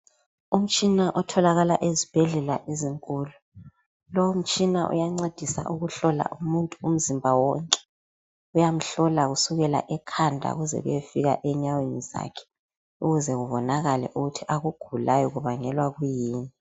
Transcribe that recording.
Umtshina otholakala ezibhedlela ezinkulu lo umtshina uyancedisa ukuhlola umuntu umzimba wonke uyamhlola kusukela ekhanda kuze kuyefika enyaweni zakhe ukuze kubonakale ukuthi akugulayo kubangelwa kuyini.